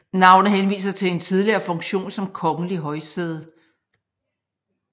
Navnet henviser til en tidligere funktion som kongelig højsæde